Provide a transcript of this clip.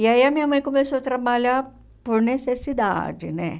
E aí a minha mãe começou a trabalhar por necessidade, né?